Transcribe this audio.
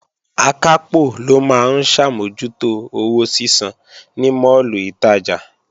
Akápò ló máa ń ṣàmójútó owó sísan ní máàlù ìtajà